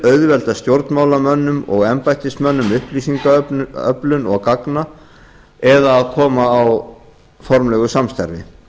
auðvelda stjórnmálamönnum og embættismönnum upplýsingaöflun og gagna eða koma á formlegu samstarfi